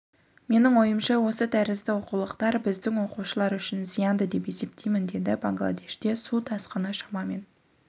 менің ойымша осы тәрізді оқулықтар біздің оқушылар үшін зиянды деп есептеймін деді бангладеште су тасқыны шамамен